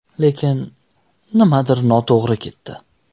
Lekin nimadir noto‘g‘ri ketdi.